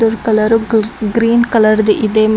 colour ಗ್ green ಕಲರ್ದು ಇದೆ ಮ --